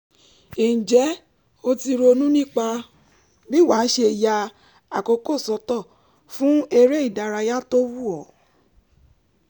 ǹjẹ́ o ti ronú nípa bí wàá ṣe ya àkókò sọ́tọ̀ fún eré ìdárayá tó wù ọ́?